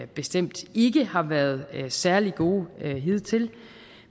bestemt ikke har været særlig gode hidtil